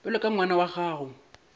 bjalo ka ngwana wa gago